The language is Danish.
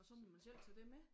Og så må man selv tage det med?